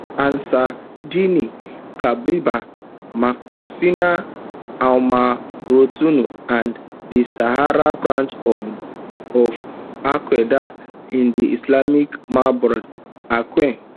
ansar dine katibat macina almourabitoun and di sahara branch of of alqaeda in di islamic maghreb aqim